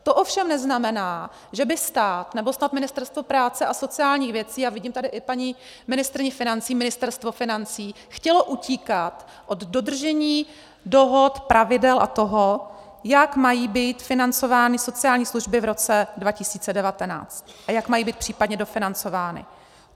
To ovšem neznamená, že by stát, nebo snad Ministerstvo práce a sociálních věcí - a vidím tady i paní ministryni financí, ministerstvo financí - chtělo utíkat od dodržení dohod, pravidel a toho, jak mají být financovány sociální služby v roce 2019 a jak mají být případně dofinancovány.